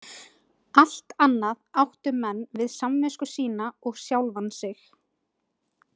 Allt annað áttu menn við samvisku sína og sjálfan sig.